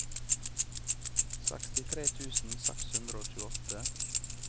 sekstitre tusen seks hundre og tjueåtte